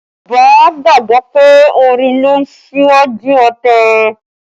Yorùbá gbàgbọ́ pé orin ló ń ṣíwájú ọ̀tẹ̀